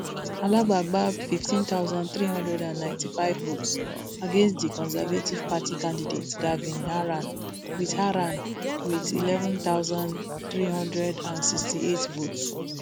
alaba gbab fifteen thousand, three hundred and ninety-five votes against di conservative party candidate gavin haran wit haran wit eleven thousand, three hundred and sixty-eight votes